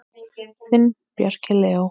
Þinn, Bjarki Leó.